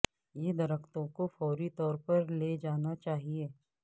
یہ درختوں کو فوری طور پر لے جانا چاہئے